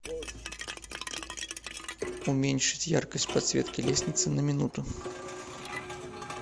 уменьшить яркость подсветки лестницы на минуту